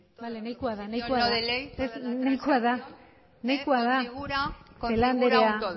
toda proposición no de ley toda la transacción configura un todo nada más y muchas gracias celaá